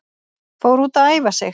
Fór út að æfa sig